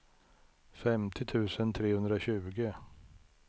femtio tusen trehundratjugo